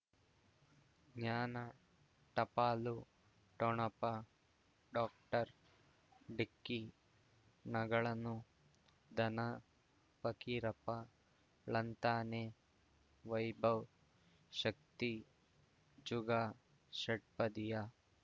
ಜ್ಞಾನ ಟಪಾಲು ಠೊಣಪ ಡಾಕ್ಟರ್ ಢಿಕ್ಕಿ ಣಗಳನು ಧನ ಫಕೀರಪ್ಪ ಳಂತಾನೆ ವೈಭವ್ ಶಕ್ತಿ ಝುಗಾ ಷಟ್ಪದಿಯ